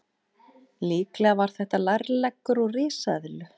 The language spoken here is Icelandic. Líklega var þetta lærleggur úr risaeðlu.